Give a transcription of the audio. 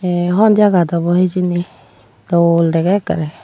eey hon jagat awbw hijeni dol dege ekkere.